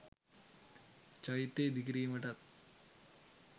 චෛත්‍ය ඉදිකිරීමටත්